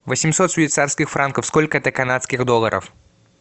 восемьсот швейцарских франков сколько это канадских долларов